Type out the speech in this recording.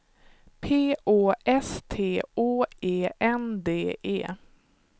P Å S T Å E N D E